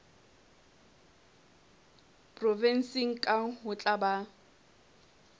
provenseng kang ho tla ba